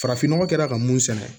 Farafin nɔgɔ kɛra ka mun sɛnɛ